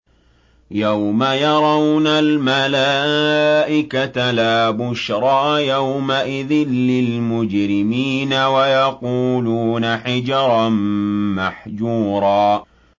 يَوْمَ يَرَوْنَ الْمَلَائِكَةَ لَا بُشْرَىٰ يَوْمَئِذٍ لِّلْمُجْرِمِينَ وَيَقُولُونَ حِجْرًا مَّحْجُورًا